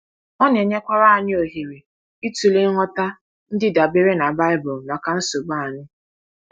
Ọ na-enyekwara anyị ohere ịtụle ngwọta ndị dabere na Baịbụl maka nsogbu anyị.